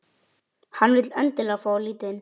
Hann vill endilega fá að líta inn.